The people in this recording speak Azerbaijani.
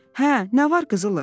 "Hə, nə var qızılı?